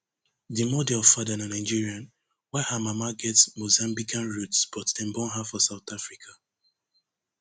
di model father na nigerian while her mama get mozambican roots but dem born her for south africa